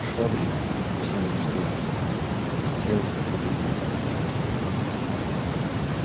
швабрин совсем уничтоженный стоял как остолбенелый